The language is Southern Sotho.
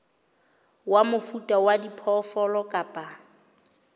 wa mofuta wa diphoofolo kapa